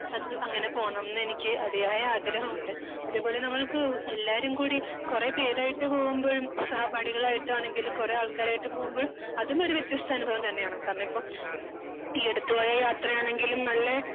അങ്ങനെ പോകണം ന്നെനിക്ക് അധിയായ ആഗ്രഹമുണ്ട്. അത് പോലെ നമ്മളിപ്പോ എല്ലാരും കൂടി കുറേ പേരായിട്ട് പോകുമ്പോഴും സഹപാഠികളായിട്ടാണെങ്കിലും കുറേ ആൾക്കാരായിട്ട് പോകുമ്പോഴും അതും ഒരു വ്യത്യസ്ത അനുഭവം തന്നെയാണ്. കാരണം ഇപ്പൊ ഈ അടുത്തു പോയ യാത്രയാണെങ്കിലും നല്ല